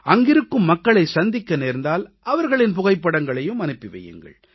அங்கிருக்கும் மக்களைச் சந்திக்க நேர்ந்தால் அவர்களின் புகைப்படங்களையும் அனுப்பி வையுங்கள்